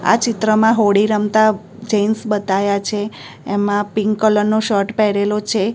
આ ચિત્રમાં હોળી રમતા જેન્ટ્સ બતાયા છે એમા પિંક કલર નો શર્ટ પહેરેલો છે.